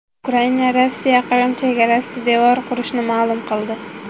Ukraina Rossiya Qrim chegarasida devor qurishini ma’lum qildi.